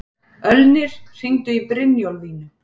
Ölnir, hringdu í Brynjólfínu.